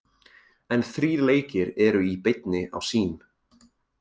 En þrír leikir eru í beinni á Sýn.